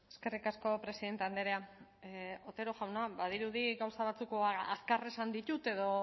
eskerrik asko presidente andrea otero jauna badirudi gauza batzuk edo azkar esan ditut edo